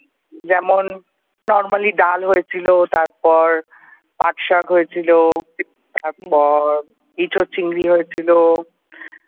যেমন normally ডাল হয়েছিল তারপর পাট শাক হয়েছিল তারপর এঁচোর চিংড়ি হয়েছিল ।